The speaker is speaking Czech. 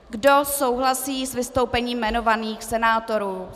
Kdo souhlasí s vystoupením jmenovaných senátorů?